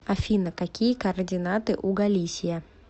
афина какие координаты у галисия